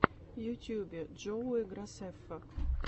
в ютьюбе джоуи грасеффа